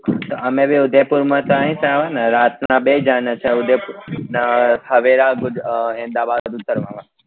અમે બી ઉદયપુર માં તો એ જ આવો ને રાત ના બેહી જવાનું તો ઉદયપુર ને સવેરા ગુજ અ અમદાવાદ ઉતરવા નું